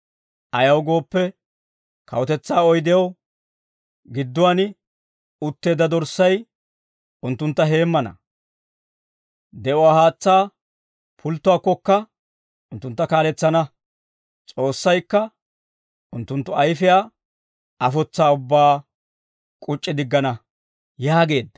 Ayaw gooppe, kawutetsaa oydew, gidduwaan utteedda Dorssay, unttuntta heemmana. De'uwaa haatsaa pulttuwaakkokka, unttuntta kaaletsana. S'oossaykka unttunttu ayfiyaa afotsaa ubbaa k'uc'c'i diggana» yaageedda.